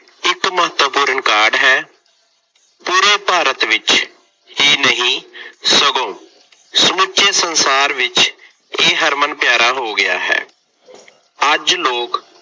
ਇੱਕ ਮਹੱਤਵਪੁਰਨ ਕਾਢ ਹੈ। ਪੂਰੇ ਭਾਰਤ ਵਿੱਚ ਹੀ ਨਹੀਂ ਸਗੋਂ ਸਮੁੱਚੇ ਸੰਸਾਰ ਵਿੱਚ ਇਹ ਹਰਮਨ ਪਿਆਰਾ ਹੋ ਗਿਆ ਹੈ। ਅੱਜ ਲੋਕ